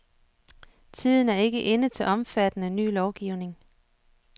Tiden er ikke inde til omfattende ny lovgivning.